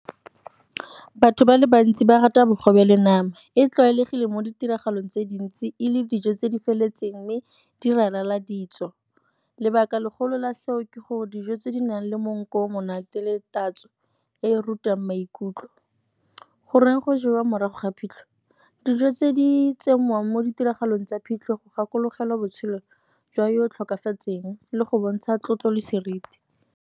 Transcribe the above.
Batho ba le bantsi ba rata bogobe le nama, e tlwaelegile mo ditiragalong tse dintsi e le dijo tse di feletseng mme di ralala ditso. Lebaka legolo la seo ke gore dijo tse di nang le monko o o monate le tatso e rutang maikutlo. Goreng go jewa morago ga phitlho? Dijo tse di tsenngwang mo ditiragalong tsa phitlho go gakologelwa botshelo jwa yo o tlhokafetseng le go bontsha tlotlo le seriti.